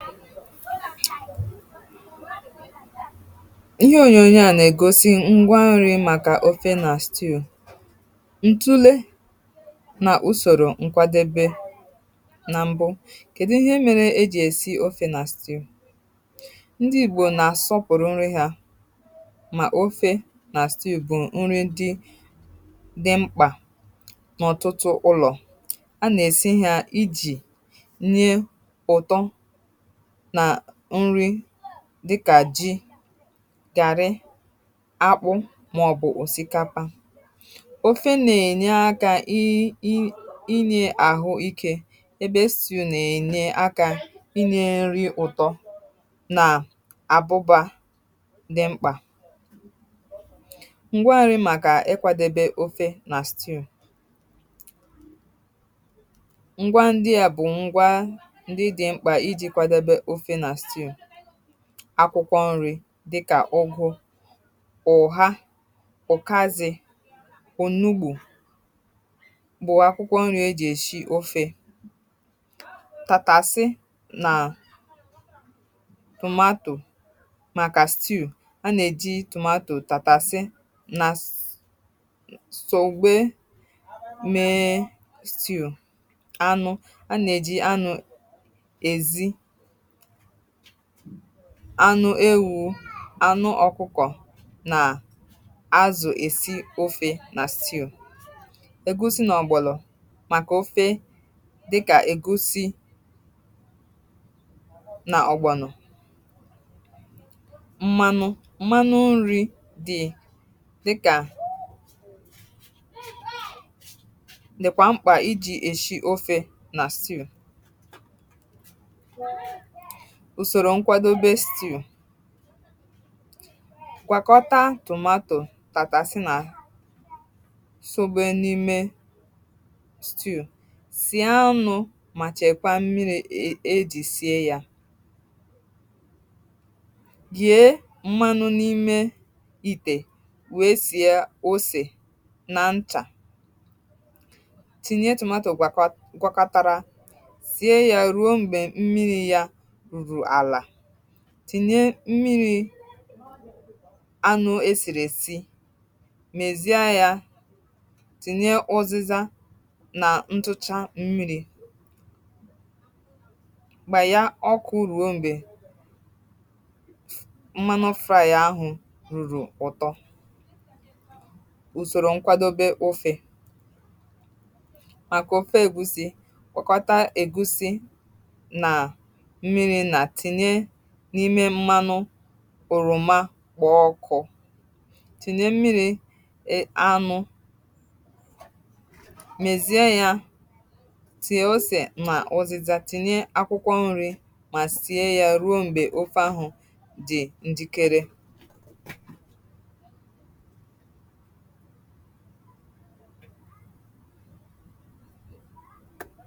Ihe ònyònyo a nà-ègosi… ngwa nri̇ màkà ofe na stew, um Ntụle nà usorȯ nkwadebe, nà m̀bụ: kèdụ ihe mèrè ejì èsi ofe na stew Ndị Ìgbò nà-àsọpụ̀rụ̀ nri ha mà ofe na stew bụ̀ nri dị mkpà n’ọ̀tụtụ ụlọ̀. A nà-èsi ha iji̇ dịkà jì, gàrị, akpụ̇, màọ̀bụ̀ òsìkapa. um Ofe nà-ènye akà, inye àhụ ike… ebe stew nà-ènye akà inye nri̇, ụ̀tọ, nà àbụba dị mkpà. Ngwa nri̇ màkà nkwadebe ofe na stew... Akwụkwọ̇ nri̇ dịkà ụ̀gụ̇, ụ̀ha, ụ̀kàzị, kụ̀, nnugbù bụ̀ akwụkwọ̇ nri̇ ejì èsi of, àtasị nà tomato màkà stew A nà-èji tomato, tàtàsị, nà sògbe mee stew. Anụ̇: a nà-èji anụ̇ dị iche iche… anụ ewu̇, anụ ọkụkọ̀, nà azụ̀. Ọ̀gbọ̀lọ̀: èsi ofe um nà sì, ègosi nà ọ̀gbọ̀lọ̀ dịkà ègosi, nà ọ̀gbọ̀nọ̀. M̀manụ: m̀manụ nri̇ dịkwa mkpà iji̇ èsi ofe na stew. Ụ̀sòrò nkwadebe stew: Um… gwakọta tomato, tàtàsị, nà sògbe n’ime stew. Sì anụ̇, mà chekwaa mmiri e jiri sie ya. Gèe mmanụ n’ime ite, wèe sìe osè nà nchà. Tinye tomato gwakọtara, tìnye mmiri̇ anụ̇ èsìrè. Mezie ya, tinye ụzịzà, nà ntụchaa. um Mmiri̇ gbàya, ọ kà urù. Um mgbe mmanụ fraị̀a ahụ̀ rùrù, ụ̀tọ bịara! Ụ̀sòrò nkwadobe ụfị̇ màkà ụfọ̇ ègusi:.. Kpọkọta ègusi oroma, kpọ̀ọ ọkụ̇, tinye mmiri̇ anụ̇, mèzie ya. Tie osè, màọ̀zịza. Tinye akwụkwọ nri̇, mà sie um ya ruo mgbe ofe ahụ̀ dị̀ ǹdikere.